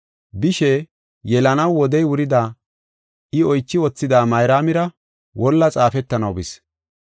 Bishe, yelanaw wodey wurida I oychi wothida, Mayraamira wolla xaafetanaw bis.